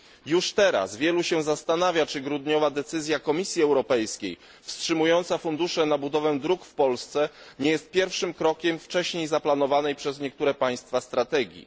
Już teraz wielu się zastanawia, czy grudniowa decyzja Komisji Europejskiej wstrzymująca fundusze na budowę dróg w Polsce nie jest pierwszym krokiem wcześniej zaplanowanej przez niektóre państwa strategii.